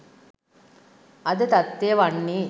අද තත්ත්වය වන්නේ